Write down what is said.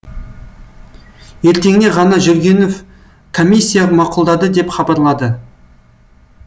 ертеңіне ғана жүргенов комиссия мақұлдады деп хабарлады